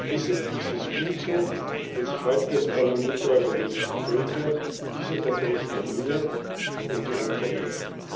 Deshalb ist es gut, wenn sich heute das Parlament der europäischen Völker dieser Verbrechen erinnert und die Opfer ehrt.